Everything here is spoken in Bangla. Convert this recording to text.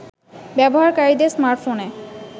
ব্যবহারকারীদের স্মার্টফোনে